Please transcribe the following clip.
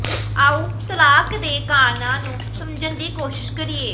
ਆਓ ਤਲਾਕ ਦੇ ਕਾਰਨਾਂ ਨੂੰ ਸਮਝਣ ਦੀ ਕੋਸ਼ਿਸ਼ ਕਰੀਏ